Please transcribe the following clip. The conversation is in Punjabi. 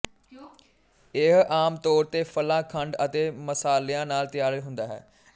ਇਹ ਆਮ ਤੌਰ ਤੇ ਫਲਾਂ ਖੰਡ ਅਤੇ ਮਸਾਲਿਆਂ ਨਾਲ ਤਿਆਰ ਹੁੰਦਾ ਹੈ